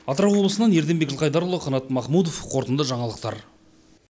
атырау облысынан ерденбек жылқайдарұлы қанат махмутов қорытынды жаңалықтар